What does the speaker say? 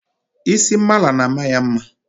isi mala na-ama ya mma